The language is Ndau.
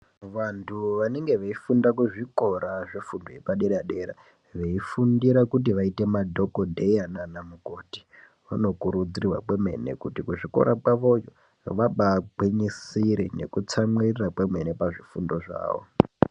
Vantu vanenge veifunda kuzvikora zvefundo yepadera-dera veifundira kuti vaite madhogodheya naana mukoti. Vanokurudzirwa kwemene kuti kuzvikora kwavoko vabaagwinyisire nekutsamwirora kwemene pazvifundo zvavo.